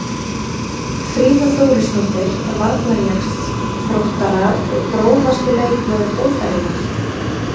Fríða Þórisdóttir varnarjaxl Þróttara Grófasti leikmaður deildarinnar?